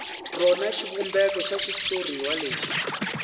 rona xivumbeko xa xitshuriwa lexi